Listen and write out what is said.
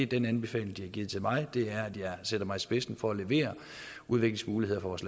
den anbefaling de har givet til mig er at jeg sætter mig i spidsen for at levere udviklingsmuligheder for vores